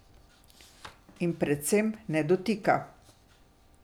In, predvsem, ne dotika.